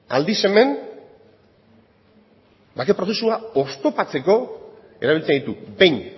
aldiz hemen bake prozesua oztopatzeko erabiltzen ditu behin